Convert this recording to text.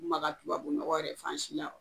Maka tubabu nɔgɔ yɛrɛ fa sin law.